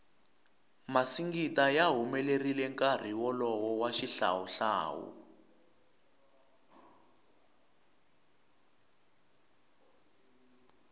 masingita ya humelerile nkarhi wolowo wa xihlawu hlawu